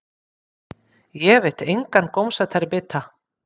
Ég veit engan gómsætari bita.